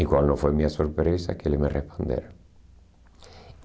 E qual não foi minha surpresa, que eles me responderam.